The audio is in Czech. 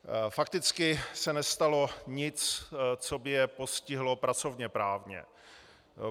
Fakticky se nestalo nic, co by je postihlo pracovněprávně.